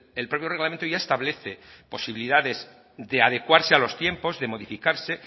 el propio reglamento ya establece posibilidades de adecuarse a los tiempos de modificarse